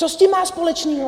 Co s tím má společného?